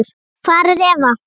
Hvar er Eva?